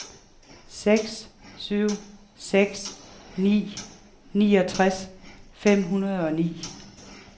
seks syv seks ni niogtres fem hundrede og ni